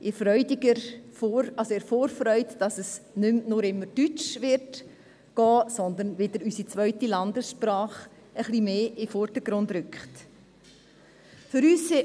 Wir sind in Vorfreude darüber, dass es nicht immer nur deutsch laufen, sondern dass auch unsere zweite Landessprache etwas mehr in den Vordergrund rücken wird.